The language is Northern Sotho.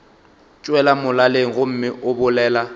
tšwela molaleng gomme o bolela